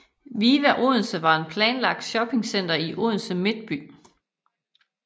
Viva Odense var et planlagt shoppingcenter i Odense midtby